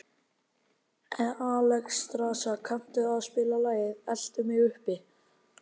Alexstrasa, kanntu að spila lagið „Eltu mig uppi“?